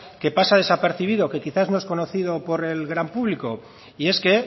que pasa desapercibido que quizás no es conocido por el gran público y es que